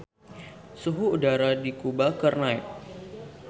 Suhu udara di Kuba keur naek